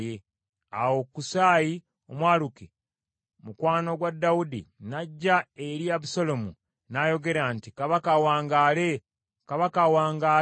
Awo Kusaayi Omwaluki, mukwano gwa Dawudi, n’ajja eri Abusaalomu n’ayogera nti, “Kabaka awangaale! Kabaka awangaale!”